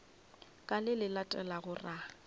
ka le le latelago ra